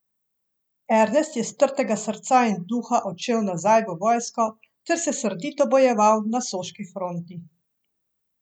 Ernest je strtega srca in duha odšel nazaj v vojsko ter se srdito bojeval na soški fronti.